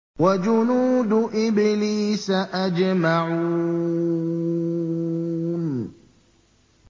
وَجُنُودُ إِبْلِيسَ أَجْمَعُونَ